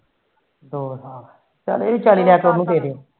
ਦੋ ਸਾਲ ਚੱਲ ਇਹ ਵੀ ਵਿਚਾਰੀ